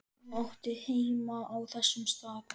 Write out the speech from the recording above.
Hún átti heima á þessum stað.